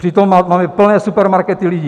Přitom máme plné supermarkety lidí.